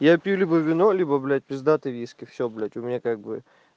я пью либо вино либо блять пиздатый виски все блять у меня как бы